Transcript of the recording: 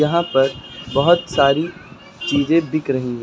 यहाँ पर बहुत सारी चीजें बिक रही हैं।